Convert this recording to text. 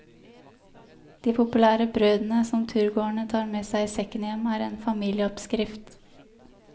De populære brødene, som turgåerne tar med seg i sekken hjem, er en familieoppskrift.